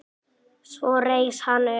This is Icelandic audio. Svo reis hann upp.